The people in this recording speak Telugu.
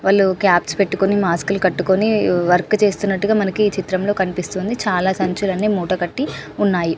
వాళ్ళు కాప్స్ పెట్టుకుని మాస్క్ లు కట్టుకొని వర్క్ చేస్తున్నట్టుగా మనకు ఏ చిత్రంలో కనిపిస్తుంది చాల సంచులన్నీ ముఠా కట్టి ఉన్నాయి.